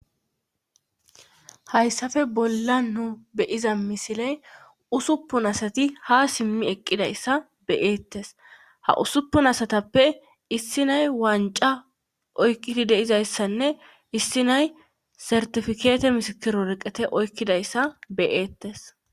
Hayssafe bolla nu beyiza misiley usuppun asati ha simmi eqqidayssa beyeettes ha usuppun asatappe issinay wanca oykqidi deizayssanne issi nay sertifikeete misikiroreqete oykkidayssa beyeettes.